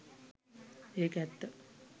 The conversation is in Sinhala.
ඒක ඇත්ත